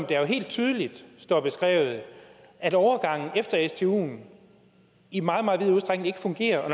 jo helt tydeligt står beskrevet at overgangen efter stuen i meget meget vid udstrækning ikke fungerer og